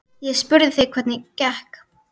Ég spurði þig hvernig gekk.